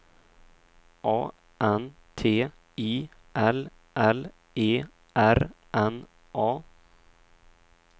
A N T I L L E R N A